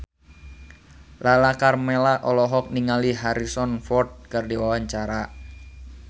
Lala Karmela olohok ningali Harrison Ford keur diwawancara